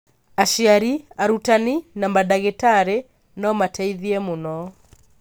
Aciari, arutani, na mandagĩtarĩ no mateithie mũno.